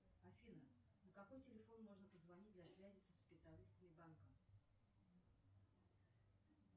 афина на какой телефон можно позвонить для связи со специалистами банка